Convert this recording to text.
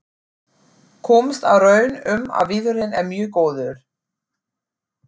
Komst að raun um að viðurinn er mjög góður.